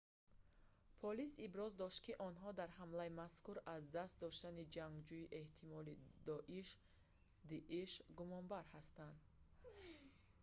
полис иброз дошт ки онҳо дар ҳамлаи мазкур аз даст доштани ҷангҷӯи эҳтимолии доиш дииш гумонбар ҳастанд